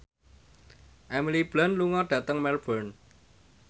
Emily Blunt lunga dhateng Melbourne